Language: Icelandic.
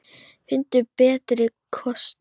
Finndu betri kosti!